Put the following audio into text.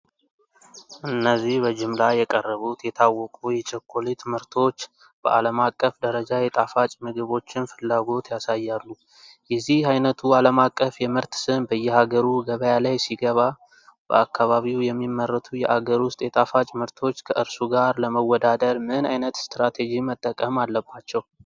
እነዚህ በጅምላ የቀረቡት የታወቁ የቸኮሌት ምርቶች በዓለም አቀፍ ደረጃ የጣፋጭ ምግቦችን ፍላጎት ያሳያሉ። የዚህ ዓይነቱ ዓለም አቀፍ የምርት ስም በየሀገሩ ገበያ ላይ ሲገባ፤ በአካባቢው የሚመረቱ የአገር ውስጥ የጣፋጭ ምርቶች ከእርሱ ጋር ለመወዳደር ምን ዓይነት ስትራቴጂ መጠቀም አለባቸው?